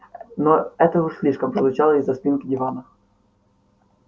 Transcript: ну это уж слишком прозвучало из-за спинки дивана